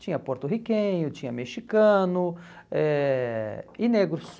Tinha porto-riquenho, tinha mexicano eh e negros.